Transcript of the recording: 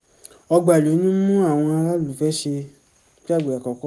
ọgbà ìlú ní mú àwọn aráàlú fẹ́ ṣe iṣẹ́ àgbẹ̀ àkókò